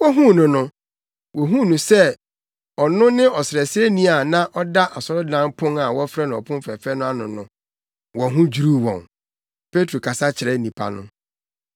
Wohuu no no, wohuu sɛ ɔno ne ɔsrɛsrɛni a na ɔda asɔredan pon a wɔfrɛ no Ɔpon Fɛfɛ no ano no, wɔn ho dwiriw wɔn. Petro Kasa Kyerɛ Nnipa No